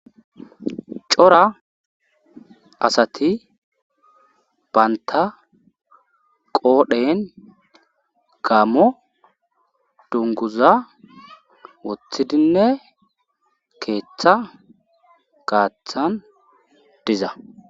cora asati banta qoodhen gammo dunguza woththidinne keeththa gaaththan diza